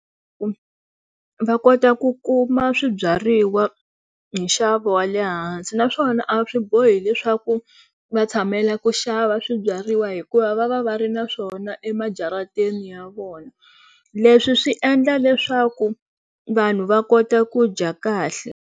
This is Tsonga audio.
Va kota ku kuma swibyariwa hi nxavo wa le hansi naswona a swi bohi leswaku va tshamela ku xava swibyariwa hikuva va va va ri na swona emajarateni ya vona leswi swi endla leswaku vanhu va kota ku dya kahle.